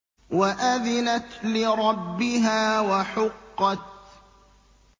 وَأَذِنَتْ لِرَبِّهَا وَحُقَّتْ